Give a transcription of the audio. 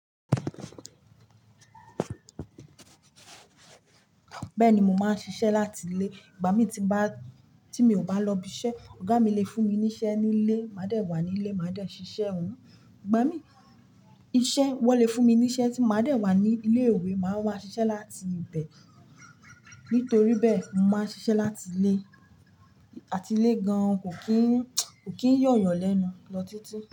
Bẹ́ẹ̀ni, mo máa ń ṣiṣẹ́ láti ilé. Ìgbà mí tí ba, tí mi ò bá lọ ibiṣẹ́, ọ̀gá mi lè fún mi níṣẹ́ nílé, màá dẹ̀ wà nílé, màá dẹ̀ ṣiṣẹ́ ọun. Ìgbà mí iṣẹ́, wọ́n lè fún mi níṣẹ́ tí màálù dẹ̀ wà ní ilé ìwé, màá ma ṣiṣẹ́ láti ibẹ̀. Nítorí bẹ́ẹ̀, mo máa ń ṣiṣẹ́ láti ilé, àti ilé gan-an, kò kí n, kò kí ń yọ̀ yan lẹ́nu lọ títí.